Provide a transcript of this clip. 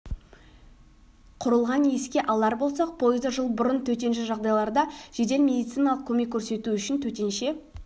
құрылған еске алар болсақ пойызды жыл бұрын төтенше жағдайларда жедел медициналық көмек көрсету үшін төтенше